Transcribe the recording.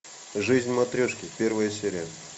жизнь матрешки первая серия